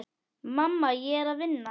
Mamma, ég er að vinna.